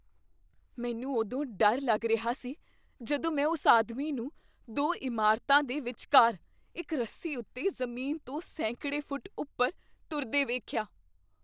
ਮੈਨੂੰ ਉਦੋਂ ਡਰ ਲੱਗ ਰਿਹਾ ਸੀ ਜਦੋਂ ਮੈਂ ਉਸ ਆਦਮੀ ਨੂੰ ਦੋ ਇਮਾਰਤਾਂ ਦੇ ਵਿਚਕਾਰ ਇੱਕ ਰੱਸੀ ਉੱਤੇ ਜ਼ਮੀਨ ਤੋਂ ਸੈਂਕੜੇ ਫੁੱਟ ਉੱਪਰ ਤੁਰਦੇਵੇਖਿਆ।